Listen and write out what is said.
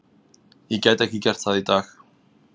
Ég gæti ekki gert það í dag.